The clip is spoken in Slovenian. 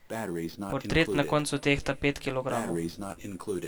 Portret na koncu tehta pet kilogramov.